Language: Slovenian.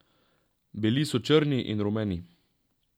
Bili so črni in rumeni.